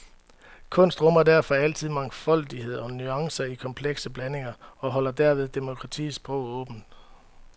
Kunst rummer derfor altid mangfoldighed og nuancer i komplekse blandinger, og holder derved demokratiets sprog åbent.